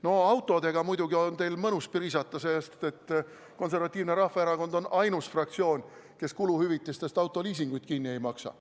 No autodega muidugi on teil mõnus priisata, sest Konservatiivne Rahvaerakond on ainus fraktsioon, kes kuluhüvitistest autoliisinguid kinni ei maksa.